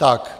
Tak.